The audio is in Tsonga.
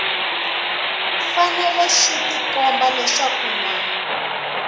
fanele swi tikomba leswaku na